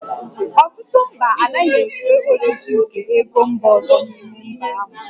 Ọtụtụ mba anaghị ekwe ojiji nke ego mba ọzọ n'ime mba ahụ